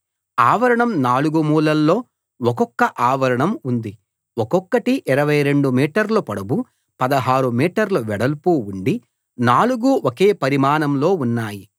ఆవరణం నాలుగు మూలల్లో ఒక్కొక్క ఆవరణం ఉంది ఒక్కొక్కటి 22 మీటర్ల పొడవు 16 మీటర్ల వెడల్పు ఉండి నాలుగూ ఒకే పరిమాణంలో ఉన్నాయి